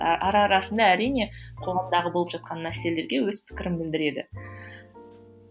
ара арасында әрине қоғамдағы болып жатқан мәселелерге өз пікірін білдіреді